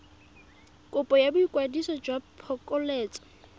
kopo ya boikwadiso jwa phokoletso